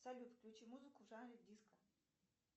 салют включи музыку в жанре диско